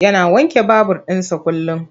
Yana wanke babur ɗinsa kullum.